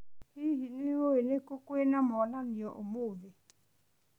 Hihi, nĩũĩ nĩ kũ kwĩna monanio ũmũthĩ?